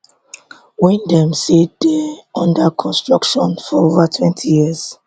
wey dem say dey under construction for ovatwentyyears